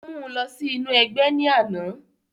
wọ̀n mú u lọ sí inú ẹgbẹ́ ní àná